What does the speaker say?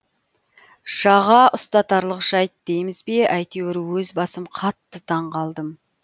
жаға ұстатарлық жайт дейміз бе әйтеуір өз басым қатты таң қалдым